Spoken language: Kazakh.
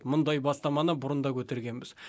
мұндай бастаманы бұрын да көтергенбіз